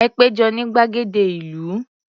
Ẹ pé jọ ní gbàgede ìlú.